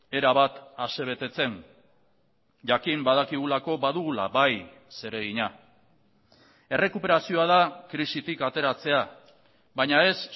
erabat asebetetzen jakin badakigulako badugula bai zeregina errekuperazioa da krisitik ateratzea baina ez